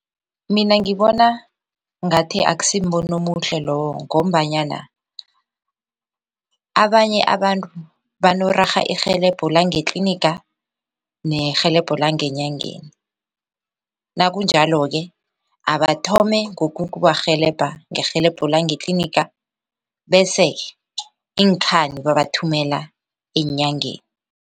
Mina ngibona ngathi akusimbono omuhle loyo ngombanyana abanye abantu banorarha irhelebho langetliniga nerhelebho langenyangeni nakunjalo-ke abathome ngokukubarhelebha ngerhelebho langetliniga bese iinkhani babathumela eenyangeni.